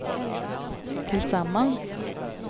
tillsammans